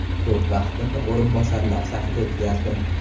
Ko‘p vaqtimni o‘rinbosarlar safida o‘tkazdim.